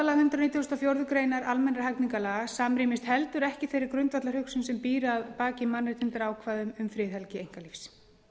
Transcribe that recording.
nítugasta og fjórðu grein almennra hegningarlaga samrýmist heldur ekki þeirri grundvallarhugsun sem býr að baki mannréttindaákvæðum um friðhelgi einkalífs